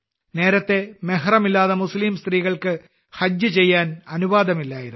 നേരത്തെ മെഹ്റമില്ലാതെ മുസ്ലീം സ്ത്രീകൾക്ക് ഹജ്ജ് ചെയ്യാൻ അനുവാദമില്ലായിരുന്നു